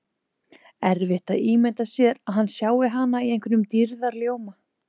Erfitt að ímynda sér að hann sjái hana í einhverjum dýrðarljóma.